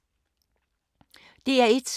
DR1